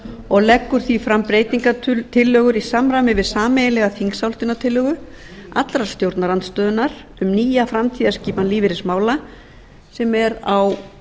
og leggur því fram breytingartillögur í samræmi við sameiginlega þingsályktunartillögu allrar stjórnarandstöðunnar um nýja framtíðarskipan lífeyrismála sem er á